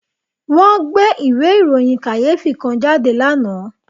Wọ́n gbé ìwé ìròyìn kàyéfì kan jáde lánàá